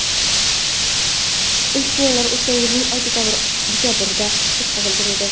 Ilk sinovlar o‘tgan yilning dekabrida o‘tkazilgan edi.